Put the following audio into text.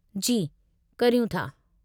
जी, करियूं था।